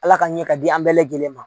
Ala ka ɲɛ ka di an bɛɛ lajɛlen ma.